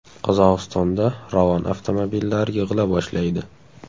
Qozog‘istonda Ravon avtomobillari yig‘ila boshlaydi .